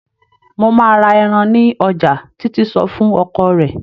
"Mo máa ra ẹran ní ọjà", Títí sọ fún ọkọ rẹ̀.